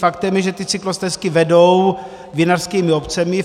Faktem je, že ty cyklostezky vedou vinařskými obcemi.